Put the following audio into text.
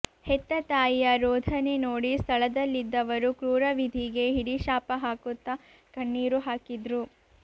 ಹೆತ್ತ ತಾಯಿಯ ರೋಧನೆ ನೋಡಿ ಸ್ಥಳದಲ್ಲಿದ್ದವರು ಕ್ರೂರ ವಿಧಿಗೆ ಹಿಡಿಶಾಪ ಹಾಕುತ್ತಾ ಕಣ್ಣೀರು ಹಾಕಿದ್ರು